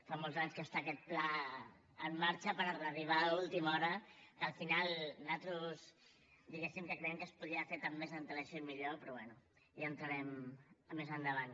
fa molts anys que està aquest pla en marxa per arribar a última hora que al final nosaltres diguéssim que creiem que es podria haver fet amb mes antelació i millor però bé ja hi entrarem més endavant